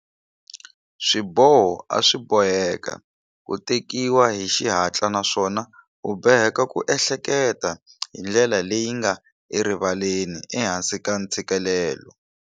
Swiboho a swi boheka ku tekiwa hi xihatla naswona u boheka ku ehleketa hi ndlela leyi nga erivaleni ehansi ka ntshikelelo.